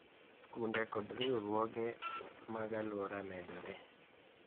Skunde kod riwruoge mag alwora medore